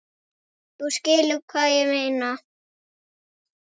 Þú skilur hvað ég meina.